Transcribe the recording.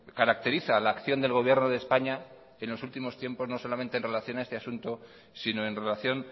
caracteriza la acción del gobierno de españa en los últimos tiempos no solamente en relación a este asunto sino en relación